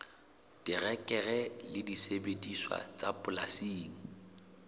terekere le disebediswa tsa polasing